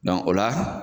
o la